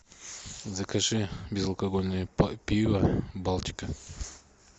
закажи безалкогольное пиво балтика